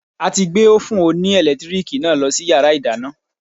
A ti gbé Ófùn oní ẹ̀lẹ́tíríìkì náà lọ sí yàrá ìdáná.